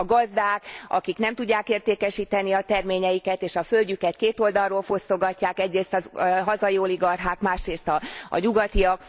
A gazdák nem tudják értékesíteni a terményeiket, és a földjüket két oldalról fosztogatják egyrészt a hazai oligarchák, másrészt a nyugatiak.